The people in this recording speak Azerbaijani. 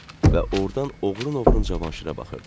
Və ordan oğrun-oğrun Cavanşirə baxırdı.